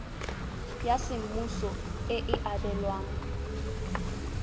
ya semmuso e e abelwang